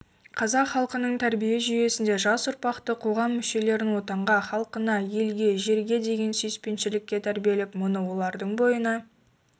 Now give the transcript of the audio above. қазақ халқының тәрбие жүйесінде жас ұрпақты қоғам мүшелерін отанға халқына елге жерге деген сүйіспеншілікке тәрбиелеп мұны олардың бойына